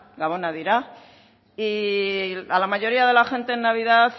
gabonak dira y a la mayoría de la gente en navidad